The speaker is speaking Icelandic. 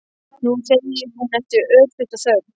Nú, segir hún eftir örstutta þögn.